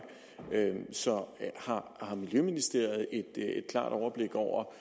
så har miljøministeriet et klart overblik over